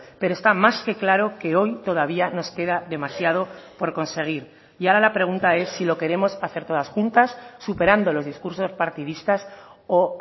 pero está más que claro que hoy todavía nos queda demasiado por conseguir y ahora la pregunta es si lo queremos hacer todas juntas superando los discursos partidistas o